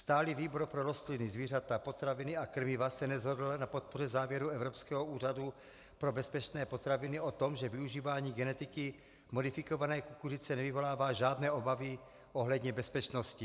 Stálý výbor pro rostliny, zvířata, potraviny a krmiva se neshodl na podpoře závěru Evropského úřadu pro bezpečné potraviny o tom, že využívání geneticky modifikované kukuřice nevyvolává žádné obavy ohledně bezpečnosti.